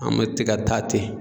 An mɛ te ka taa ten.